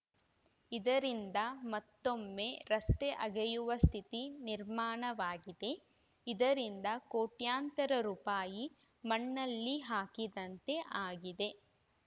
ಇದರಿಂದ ಮತ್ತೊಮ್ಮೆ ರಸ್ತೆ ಅಗೆಯುವ ಸ್ಥಿತಿ ನಿರ್ಮಾಣವಾಗಿದೆ ಇದರಿಂದ ಕೋಟ್ಯಂತರ ರುಪಾಯಿ ಮಣ್ಣಲ್ಲಿ ಹಾಕಿದಂತೆ ಆಗಿದೆ